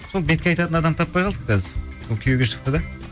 сол бетке айтатын адам таппай қалдық қазір сол күйеуге шықты да